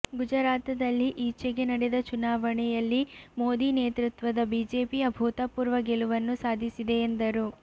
ಗುಜರಾತದಲ್ಲಿ ಈಚೆಗೆ ನಡೆದ ಚುನಾವಣೆಯಲ್ಲಿ ಮೋದಿ ನೇತೃತ್ವದ ಬಿಜೆಪಿ ಅಭೂತಪೂರ್ವ ಗೆಲುವನ್ನು ಸಾಧಿಸಿದೆ ಎಂದರು